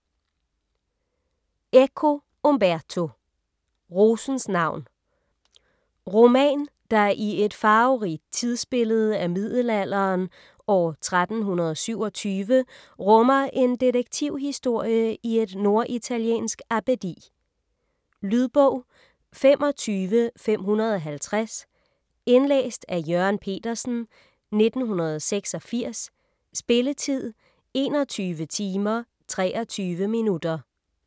Eco, Umberto: Rosens navn Roman der i et farverigt tidsbillede af middelalderen, år 1327, rummer en detektivhistorie i et norditaliensk abbedi. Lydbog 25550 Indlæst af Jørgen Petersen, 1986. Spilletid: 21 timer, 23 minutter.